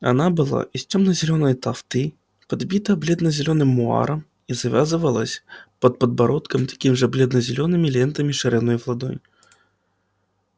она была из темно-зелёной тафты подбита бледно-зелёным муаром и завязывалась под подбородком такими же бледно-зелёными лентами шириной в ладонь